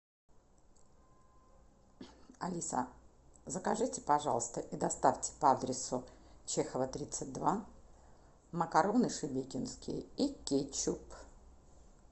алиса закажите пожалуйста и доставьте по адресу чехова тридцать два макароны шебекинские и кетчуп